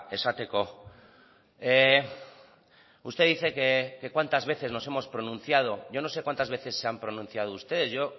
esateko usted dice que cuántas veces nos hemos pronunciado yo no sé cuántas veces se han pronunciado ustedes yo